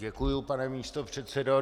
Děkuji, pane místopředsedo.